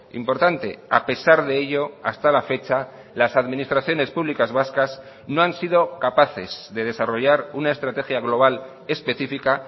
importante a pesar de ello hasta la fecha las administraciones públicas vascas no han sido capaces de desarrollar una estrategia global específica